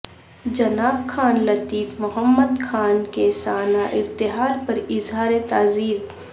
جناب خان لطیف محمد خان کے سانحہ ارتحال پر اظہار تعزیت